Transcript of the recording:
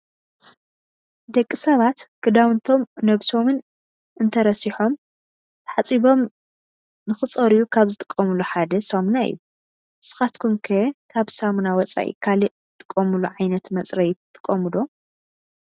ደቂ ሰባት ክዳውንቶም ነብሶምን እንተረሲሖም ተሓፂቦም ንክፀርዩ ካብ ዝጥቀምሉ ሓ ሳሙና እዩ። ንስኻትኩም ከ ካብ ሳሙና ወፃኢ ካሊእ ትጥቀምሉ ዓይነት መፅረዪ ትጥቀሙ ዶ?